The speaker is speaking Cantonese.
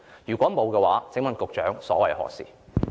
如否，請問副局長所謂何事？